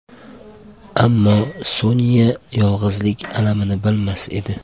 Ammo Sonya yolg‘izlik alamini bilmas edi.